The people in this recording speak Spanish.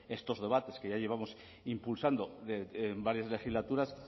estos debates que ya llevamos impulsando en varias legislaturas